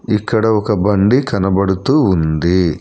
ఇక్కడ ఒక బండి కనబడుతూ ఉంది.